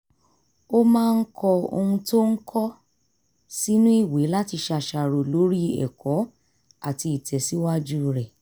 ó máa ń kọ ohun tó ń kọ́ sínú ìwé láti ṣàṣàrò lórí ẹ̀kọ́ àti ìtẹ̀síwájú rẹ̀